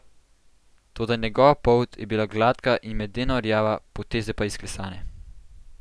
Toda njegova polt je bila gladka in medeno rjava, poteze pa izklesane.